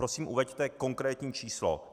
Prosím uveďte konkrétní číslo.